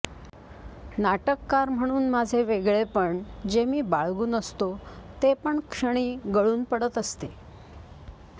नाटककार म्हणुन माझे वेगळेपण जे मी बाळगुन असतो ते पण क्षणी गळुन पडत असते